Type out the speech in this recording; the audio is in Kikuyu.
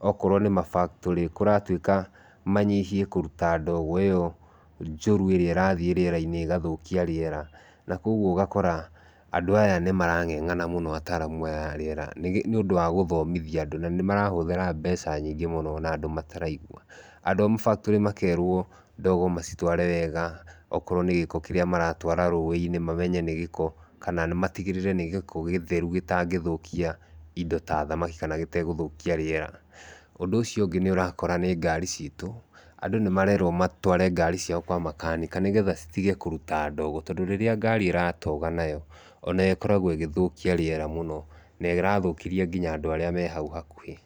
Okorwo nĩ ma factory kũratuĩka manyihie kũruta ndogo iyo njũru ĩrĩa ĩrathiĩ rĩera-inĩ igathũkia rĩera nakogũo ũgakora andũ aya nĩmarang'eng'ana mũno ataramũ aya arĩera nĩũndũ wa gũthomithia andũ nanĩmarahũthĩra nyingĩ mũno na andũ mataraigũa . Andũ a ma factory makerwo ndogo macitware wega, okorwo nĩ gĩko kĩrĩa maratwara rũĩ-inĩ, mamenye nĩ gĩko kana matigĩrĩre nĩ gĩko gĩtherũ gĩtangĩthũkia indo ta thamaki na gĩtegũthũkia rĩera. Ũndũ uciũ ũngĩ nĩũrakora nĩ ngari citũ, andũ nĩmarerwo matware ngari ciao kwa makanika, nĩgetha citige kũruta ndogo tondũ rĩria ngari iratoga nayo onayo ĩkoragwo ĩgĩthũkia rĩera mũno na ĩrathũkĩria nginya andũ arĩa me hau hakuhĩ.